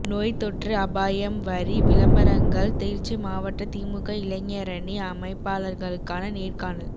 நோய் தொற்று அபாயம் வரி விளம்பரங்கள் திருச்சி மாவட்ட திமுக இளைஞரணி அமைப்பாளர்களுக்கான நேர்காணல்